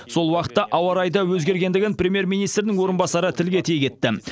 сол уақытта ауа райы да өзгергендігін премьер министрдің орынбасары тілге тиек етті